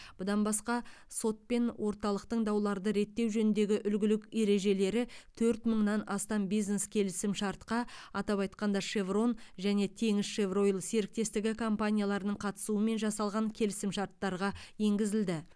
бұдан басқа сот пен орталықтың дауларды реттеу жөніндегі үлгілік ережелері төрт мыңнан астам бизнес келісімшартқа атап айтқанда шеврон және теңізшевройл серіктестігі компанияларының қатысуымен жасалған келісім шарттарға енгізілді